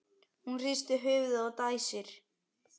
Hún hristir höfuðið og dæsir.